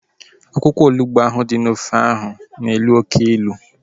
Akwụkwọ onugbu ahu dị n'ofe ahu na-elu oké ilu